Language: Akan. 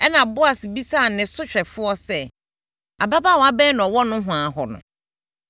Ɛnna Boas bisaa ne sohwɛfoɔ sɛ, “Ababaawa bɛn na ɔwɔ nohoa hɔ no?”